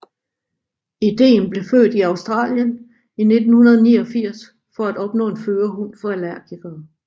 Ideen blev født i Australien i 1989 for at opnå en førerhund for allergikere